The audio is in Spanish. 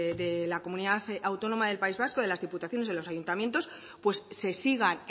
de la comunidad autónoma del país vasco de las diputaciones de los ayuntamientos pues se sigan